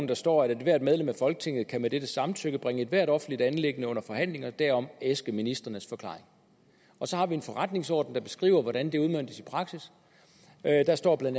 der står at ethvert medlem af folketinget kan med dettes samtykke bringe ethvert offentligt anliggende under forhandling og derom æske ministrenes forklaring og så har vi en forretningsorden der beskriver hvordan det udmøntes i praksis der står bla at